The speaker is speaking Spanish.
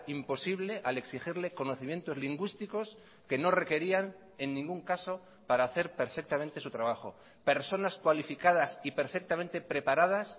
imposible al exigirle conocimientos lingüísticos que no requerían en ningún caso para hacer perfectamente su trabajo personas cualificadas y perfectamente preparadas